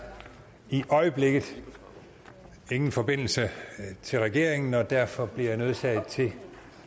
i øjeblikket ingen forbindelse til regeringen og derfor bliver jeg nødsaget til